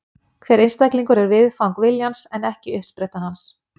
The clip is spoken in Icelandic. Hver einstaklingur er viðfang viljans en ekki uppspretta hans.